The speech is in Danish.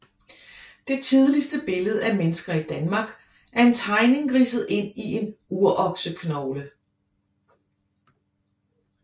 Det tidligste billede af mennesker i Danmark er en tegning ridset ind i en urokseknogle